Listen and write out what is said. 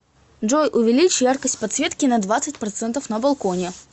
джой увеличь яркость подсветки на двадцать процентов на балконе